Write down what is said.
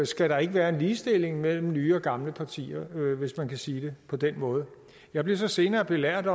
skal være en ligestilling mellem nye og gamle partier hvis man kan sige det på den måde jeg blev så senere belært